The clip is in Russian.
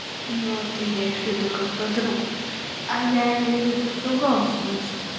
но ты имеешь в виду как подругу а я имею в виду в другом смысле